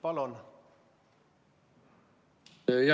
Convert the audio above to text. Palun!